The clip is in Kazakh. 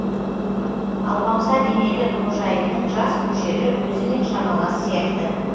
алпамса денелі қожайынның жас мөлшері өзімен шамалас сияқты